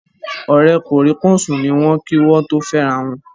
Ọ̀rẹ́ kòríkòsùn ni wọ́n kí wọ́n tó fẹ́rawọn